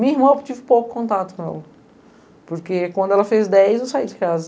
Minha irmã, eu tive pouco contato com ela, porque quando ela fez dez eu saí de casa.